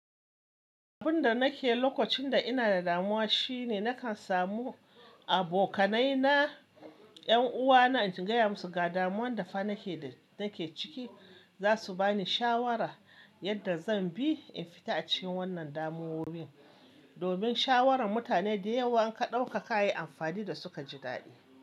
Abun da nake lokacin da ina da damuwa shine nakan samu abokanai na, 'yan uwa na, in ji gaya musu ga damuwan da fa nake, nake ciki. Zasu bani shawara yadda zan bi in fita a cikin wannan damuwowi. Domin shawaran mutane da yawa in ka ɗauka ka yi amfani da suka ji daɗi.